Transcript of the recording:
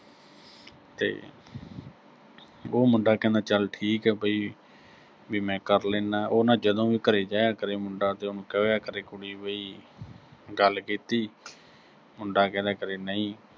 ਤੇ ਉਹ ਮੁੰਡਾ ਕਹਿੰਦਾ ਚਲ ਠੀਕ ਆ ਬਈ, ਵੀ ਮੈਂ ਕਰ ਲੈਨਾ, ਉਹ ਨਾ ਅਹ ਜਦੋਂ ਵੀ ਘਰੇ ਜਾਇਆ ਕਰੇ ਮੁੰਡਾ, ਤੇ ਉਹਨੂੰ ਕਿਹਾ ਕਰੇ ਕੁੜੀ ਵੀ ਗੱਲ ਕੀਤੀ, ਮੁੰਡਾ ਕਹਿ ਦਿਆ ਕਰੇ, ਨਹੀਂ